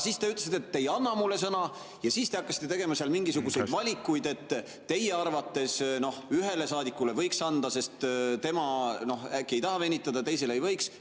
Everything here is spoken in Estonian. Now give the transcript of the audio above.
Siis te ütlesite, et te ei anna mulle sõna, ja hakkasite tegema seal mingisuguseid valikuid, et teie arvates ühele saadikule võiks anda, sest tema äkki ei taha venitada, teisele ei võiks.